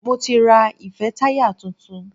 Mo ti ra ìfẹ́táyà tuntun.